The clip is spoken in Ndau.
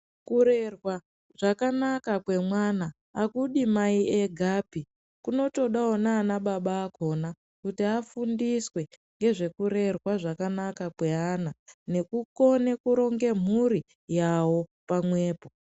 Kurera zvakanaka kwemwana azvidi Mai egapi kunotodawo nana baba akhona. Kuti afundiswe ngezvekurerwa zvakanaka kweana nekukona kuronga mhuri yawo pamwepo.